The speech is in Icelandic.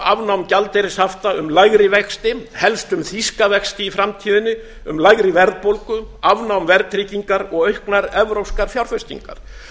afnám gjaldeyrishafta um lægri vexti helst um þýska vexti í framtíðinni um lægri verðbólgu afnám verðtryggingar og auknar evrópskar fjárfestingar